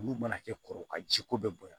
Olu mana kɛ kɔrɔba ji ko bɛ bonya